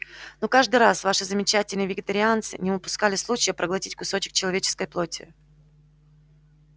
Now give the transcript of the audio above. но каждый раз ваши замечательные вегетарианцы не упускали случая проглотить кусок человеческой плоти